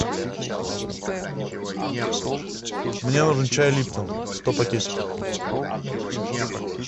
мне нужен чай липтон сто пакетиков